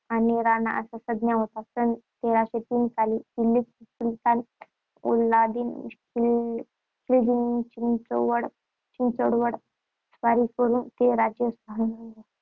आणि राणा अशा संज्ञा होत्या. सन तेराशेतीन साली दिल्लीचा सुलतान अल्लाउद्दीन खिलजीने चित्तोडवर चित्तोडवर स्वारी करून ते राज्य